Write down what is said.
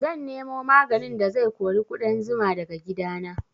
Zan nemo maganin da zai kori ƙudan zuma daga gidana